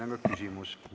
Teile on küsimusi.